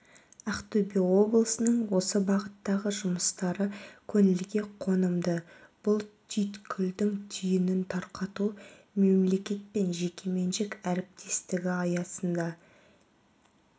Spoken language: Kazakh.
ақтөбе облысының осы бағыттағы жұмыстары көңілге қонымды бұл түйткілдің түйінін тарқату мемлекет пен жекеменшік әріптестігі аясында